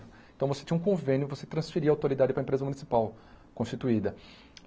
Então você tinha um convênio, você transferia a autoridade para a empresa municipal constituída.